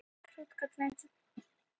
Óvenju mörg páfiðrildi